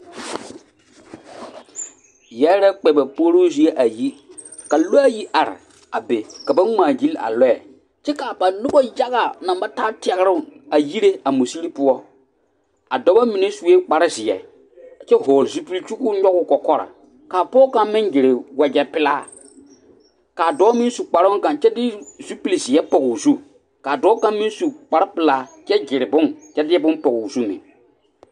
Yɛre la kpɛ ba puoroo zie a yi ka lɔaayi are be ka ba ngmaagyile a lɔɛ kyɛ kaa ba nobɔ yaga naŋ ba taa tɛgroŋ a yire a musire poɔ a dɔbɔ mine suee kparezeɛ a kyɛ vɔgle zupil kyɛ koo nyogoo kɔkɔre ka a pɔge kaŋ meŋ gyile wagyɛ pelaa kaa dɔɔ meŋ su kparoo kaŋ kyɛ de zupilzeɛ a pɔgoo zu kaa dɔɔ kaŋ meŋ su kparepelaa kyɛ gyire bone kyɛ de bon pɔgoo zu meŋ.